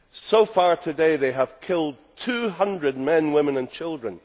So far today they have killed 200 men, women and children.